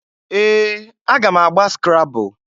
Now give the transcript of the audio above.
Ee! Aga m agba skrabul.